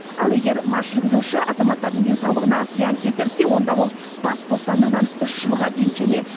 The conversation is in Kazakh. ал егер мас жүргізуші азаматтардың денсаулығына зиян келтірсе онда ол бас бостандығынан үш жылға дейін және